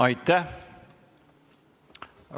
Aitäh!